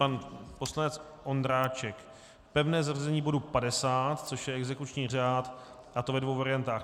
Pan poslanec Ondráček - pevné zařazení bodu 50, což je exekuční řád, a to ve dvou variantách.